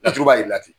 Laturu b'a jira ten